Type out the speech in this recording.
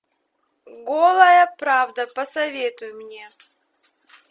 голая правда посоветуй мне